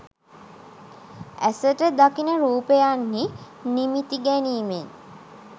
ඇසට දකින රූපයන්හි නිමිති ගැනීමෙන්